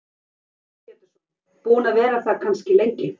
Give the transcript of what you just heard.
Heimir Már Pétursson: Búin að vera það kannski lengi?